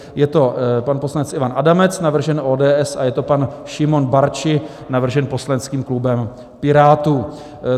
Je to pan poslanec Ivan Adamec, navržen ODS, a je to pan Šimon Barczi, navržen poslaneckým klubem Pirátů.